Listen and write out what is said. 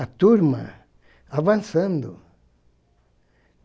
a turma avançando.